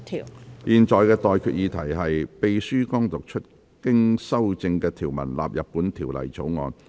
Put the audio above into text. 我現在向各位提出的待決議題是：秘書剛讀出經修正的條文納入本條例草案。